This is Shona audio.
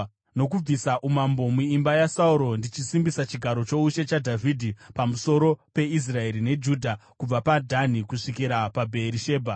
nokubvisa umambo muimba yaSauro ndichisimbisa chigaro choushe chaDhavhidhi pamusoro peIsraeri neJudha kubva paDhani kusvikira kuBheerishebha.”